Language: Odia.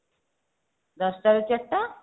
ଦଶଟା ରୁ ଚାରିଟା